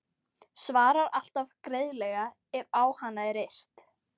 Svarar alltaf greiðlega ef á hana er yrt.